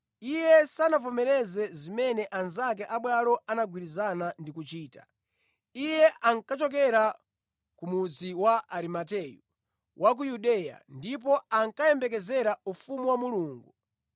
Iye sanavomereze zimene anzake abwalo anagwirizana ndi kuchita. Iye ankachokera ku mudzi wa Arimateyu wa ku Yudeya ndipo ankayembekezera ufumu wa Mulungu.